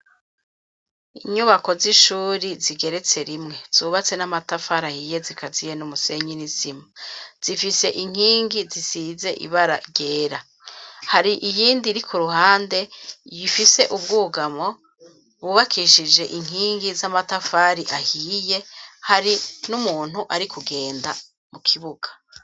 Inyubako z'ishure zigeretse rimwe, zubatse n'amatafari ahiye zikaziye n'umusenyi n'isima ,zifise inkingi zisize ibara ryera. Hari iyindi iri ku ruhande ifise ubwugamo bwubakishije inkingi z'amatafari ahiye, hari n'umuntu ari kugenda mu kibuga.